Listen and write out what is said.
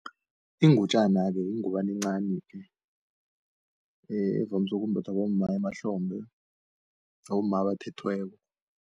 Ingutjana-ke yingubana encani-ke, evamise ukumbathwa bomma emahlombe, abomma abathethweko.